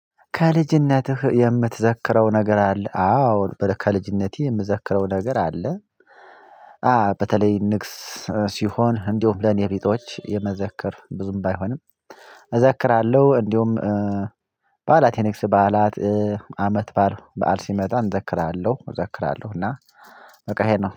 ከልጅነትህ የምትዘክረው ነገር አለ? አዎ ከልጅነቴ የምዘክረው ነገር አለ አዎ በተለይ ንግስ ሲሆን እንዲሁም ለኔ ቢጤዎች የመዘከር ብዙም ባይሆንም እዘክራለሁ እንዲሁም በዓላት የንግስ በዓላት አመት ባል በዓል ሲመጣ እዘክራለሁ እዘክራለሁ እና በቃ ይሄ ነው።